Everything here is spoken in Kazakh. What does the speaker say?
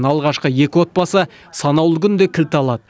алғашқы екі отбасы санаулы күнде кілт алады